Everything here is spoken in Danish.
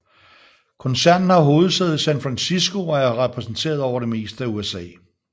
Koncernen har hovedsæde i San Francisco og er repræsenteret over det meste af USA